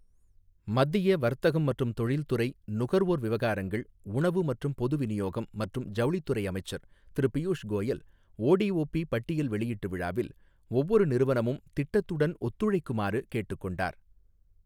மத்திய வர்த்தகம் மற்றும் தொழில்துறை, நுகர்வோர் விவகாரங்கள், உணவு மற்றும் பொது விநியோகம் மற்றும் ஜவுளித் துறை அமைச்சர் திரு பியூஷ் கோயல், ஓடிஓபி பட்டியல் வெளியீட்டு விழாவில், ஒவ்வொரு நிறுவனமும் திட்டத்துடன் ஒத்துழைக்குமாறு கேட்டுக் கொண்டார்.